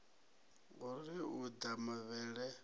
ho ri u ḓa mavhele